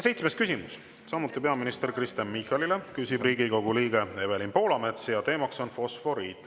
Seitsmes küsimus on samuti peaminister Kristen Michalile, küsib Riigikogu liige Evelin Poolamets ja teema on fosforiit.